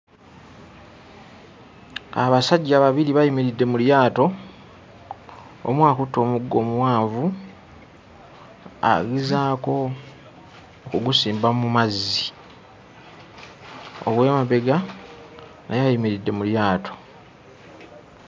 Abasajja babiri bayimiridde mu lyato omu akutte omuggo omuwanvu agezaako ogusimba mu mazzi, ow'emabega naye ayimiridde mu lyato.